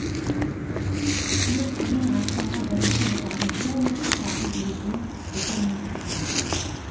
төрт ең астыңғы бірінші этажын полностью сатып жіберген жеке меншікке